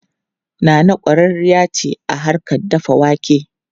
Nana kwararriya ce a harkar dafa wake.